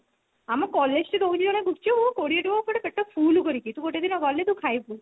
ଆମ collage ଠି ଦଉଛି ଗୋଟେ ଗୁପ୍ଚୁପ କୋଡିଏ ଟଙ୍କାର ପୁରା ପେଟ ଫୁଲ କରିକି ତୁ ଗୋଟେ ଦିନ ଗଲେ ତୁ ଖାଇବୁ